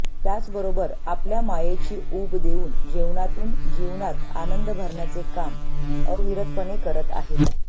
त्याचबरोबर आपल्या मायेची ऊब देऊन जेवणातून जीवनात आनंद भरण्याचे काम अविरतपणे करत आहेत